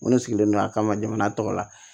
N ko ne sigilen don a kama jamana tɔgɔ la